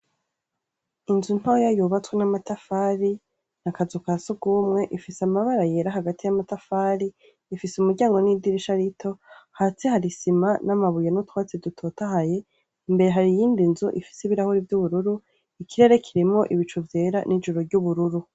Inzu ntoya yubatswe namatafari akazu kasugumwe Ifise amabara yera Hagati ya matafari ,Ifise umuryango nidirisha rito hasi hari Isima namabuye nutwatsi dutotahaye mbere hari iyindi nzu Ifise ibirahuri vyubururu ,ikirere kirimwo ibicu vyera nibicu vyubururu.